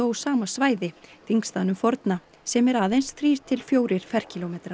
sama svæði þingstaðnum forna sem er aðeins þrír til fjórir ferkílómetrar